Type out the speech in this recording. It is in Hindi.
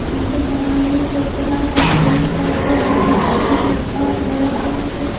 झंडे फहराने वाला चबूतरा है पेड़ पौधे हैं स्कूल है घर है बस है।